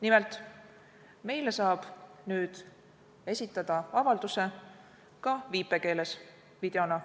Nimelt saab meile nüüd avalduse esitada ka viipekeeles, videona.